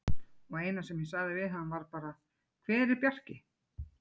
Og eina sem ég sagði við hann var bara: Hver er Bjarki?